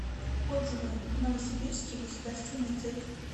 отзывы новосибирский государственный цирк